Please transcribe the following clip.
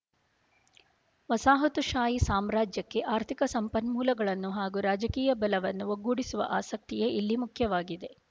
ವಸಾಹತುಶಾಹಿ ಸಾಮ್ರಾಜ್ಯಕ್ಕೆ ಆರ್ಥಿಕ ಸಂಪನ್ಮೂಲಗಳನ್ನು ಹಾಗೂ ರಾಜಕೀಯ ಬಲವನ್ನು ಒಗ್ಗೂಡಿಸುವ ಆಸಕ್ತಿಯೇ ಇಲ್ಲಿ ಮುಖ್ಯವಾಗಿದೆ